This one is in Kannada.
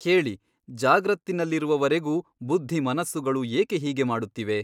ಕೇಳಿ ಜಾಗ್ರತ್ತಿನಲ್ಲಿರುವವರೆಗೂ ಬುದ್ಧಿಮನಸ್ಸುಗಳು ಏಕೆ ಹೀಗೆ ಮಡುತ್ತಿವೆ?